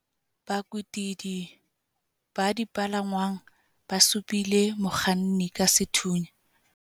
bakwetidi ba dipalangwang ba supile mokganni ka sethunya